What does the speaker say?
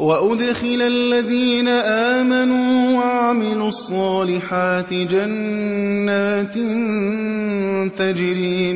وَأُدْخِلَ الَّذِينَ آمَنُوا وَعَمِلُوا الصَّالِحَاتِ جَنَّاتٍ تَجْرِي